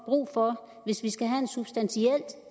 brug for hvis vi skal have en substantiel